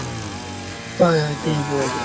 হয় হয় তিয়ঁহ পোৱা যায়